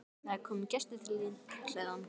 Það er kominn gestur til þín, kallaði hún.